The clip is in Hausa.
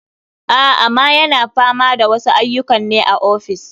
A, ama yana fama da wasu aiyukan ne a ofis.